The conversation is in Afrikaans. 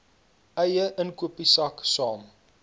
eie inkopiesak saam